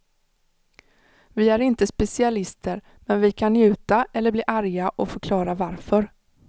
Vi är inte specialister men vi kan njuta eller bli arga och förklara varför.